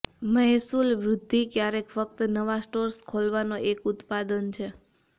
મહેસૂલ વૃદ્ધિ ક્યારેક ફક્ત નવા સ્ટોર્સ ખોલવાનો એક ઉત્પાદન છે